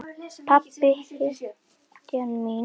Pabbi, hetjan mín, er látinn.